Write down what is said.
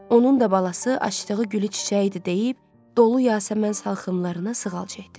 Onun da balası açdığı gülü çiçəyi idi deyib, dolu Yasəmən salxımlarına sığal çəkdi.